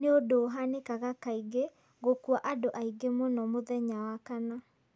Nĩ ũndũ ũhanikaga kaingĩ gũkuua andũ aingĩ mũno mũthenya wa kana.